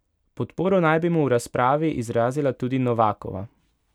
Podporo naj bi mu v razpravi izrazila tudi Novakova.